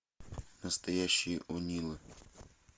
настоящие онилы